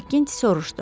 Makkinte soruşdu.